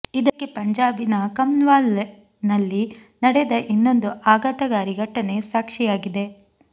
ಇದಕ್ಕೆ ಪಂಜಾಬಿನ ಕಂನ್ವಾಲ್ ನಲ್ಲಿ ನಡೆದ ಇನ್ನೊಂದು ಆಘಾತಕಾರಿ ಘಟನೆ ಸಾಕ್ಷಿಯಾಗಿದೆ